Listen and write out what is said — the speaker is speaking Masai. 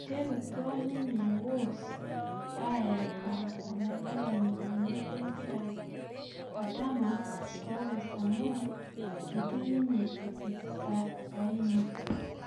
Iterutua ninye Wolves aayeka oladalani lenye lempira Adama Traore amu eitu ninye epik saini